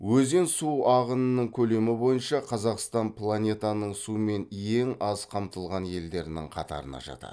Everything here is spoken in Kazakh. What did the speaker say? өзен су ағынының көлемі бойынша қазақстан планетаның сумен ең аз қамтылған елдерінің қатарына жатады